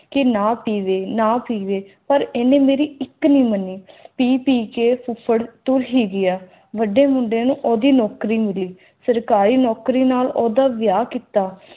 ਕ ਨਾ ਪੀਵਯ ਨਾ ਪੀਵਯ ਲੇਕਿਨ ਉਨ੍ਹੇ ਮੇਰੀ ਇਕ ਨਾ ਸੁਣੀ ਪੀ ਪੀ ਕ ਫੁਫੜ ਤੁੱਰ ਹੈ ਗਯਾ ਵੱਡੇ ਮੁੰਡੇ ਨੂੰ ਆਦਿ ਨੌਕਰੀ ਮਿਲੀ ਸਰਕਾਰੀ ਨੌਕਰੀ ਨਾਲ ਉਡਾ ਵਿਆਹ ਕਿੱਤਾ